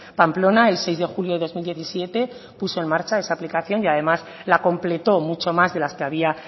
pamplona el seis de julio de dos mil diecisiete puso en marcha esa aplicación y además la completó mucho más de las que había